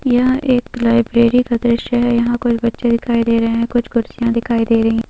यह एक लाइब्रेरी का दृश्य है यहाँ कोई बच्चे दिखाई दे रहे हैं कुछ कुर्सीया दिखाई दे रही हैं।